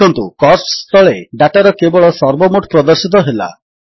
ଦେଖନ୍ତୁ କୋଷ୍ଟସ ତଳେ ଡାଟାର କେବଳ ସର୍ବମୋଟ ପ୍ରଦର୍ଶିତ ହେଲା